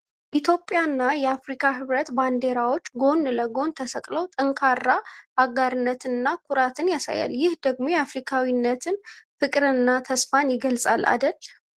ኢትዮጵያና የአፍሪካ ህብረት ባንዲራዎች ጎን ለጎን ተሰቅለው ጠንካራ አጋርነትንና ኩራትን ያሳያል ። ይህ ደግሞ የአፍሪካዊነት ፍቅርንና ተስፋን ይገልጻል አደል ።